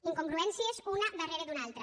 incongruències una darrere d’una altra